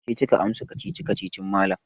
Ke kika amsa kacici-kacicin malam.